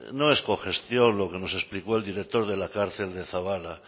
no es cogestión lo que nos explicó el director de la cárcel de zaballa